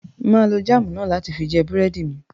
Mà á lo jáámù náà láti fi jẹ búrẹ́dì mi.